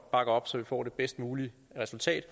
bakker op så vi får det bedst mulige resultat